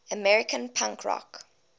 american punk rock